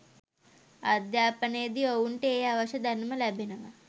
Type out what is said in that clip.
අධ්‍යාපනයේදී ඔවුන්ට ඒ අවශ්‍ය දැනුම ලැබෙනවා